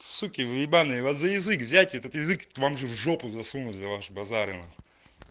суки вы ебаные вас за язык взять этот язык вам же в жопу засунуть за ваши базары нахуй